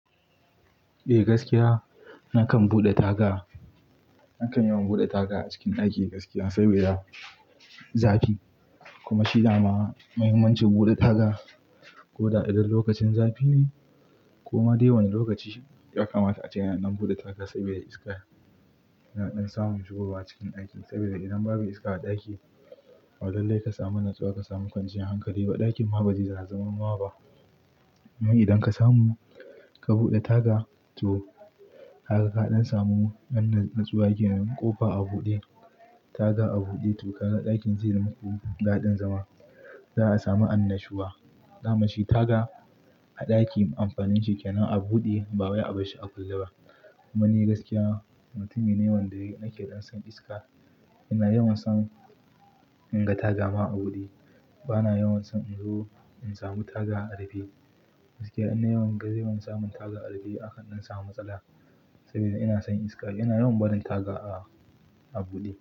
Eh gaskiya nakan buɗe taga. Nakan yawan buɗe taga a cikin ɗaki gaskiya saboda zafi kuma shi dama muhimmancin buɗe taga. Ko da idan lokacin zafi ne ko ma dai wani lokaci ya kamata a ce ana dan buɗe taga sabida iska yana ɗan samun shigowa cikin daki sabida idan babu iska a ɗaki, ba lallai ka samu natsuwa ka samu kwanciyar hankali ba ɗakin ma ba zai zana zaman ba. Amman idan ka samu ka buɗe taga to kaga kaɗan samu wannan natsuwa kenan ƙofa a buɗe taga a buɗe to kaga ɗakin zai yi muku daɗin zama. Za a sami annashuwa. Daman shi taga a ɗaki amfanin shi kenan a buɗe ba wai a bar shi a kulle ba. Kuma ni gaskiya mutumi me wanda nake ɗan son iska. Ina yawan son in ga taga ma a buɗe. Bana yawan son in zo in samu taga a rufe. Gaskiya ina yawan gani an samun taga a rufe aka ɗan samu matsala saboda ina son iska. Ina yawan barin taga a, a buɗe.